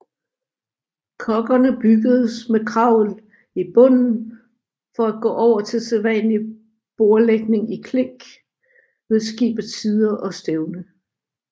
Koggerne byggedes med kravel i bunden for at gå over til sædvanlig bordlægning i klink ved skibets sider og stævne